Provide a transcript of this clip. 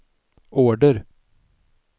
order